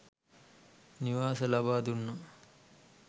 නිවාස ලබාදුන්නා.